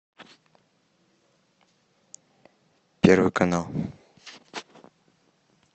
первый канал